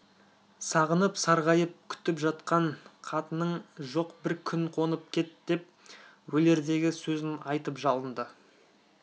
сағынып-сарғайып күтіп жатқан қатының жоқ бір күн қонып кет деп өлердегі сөзін айтып жалынды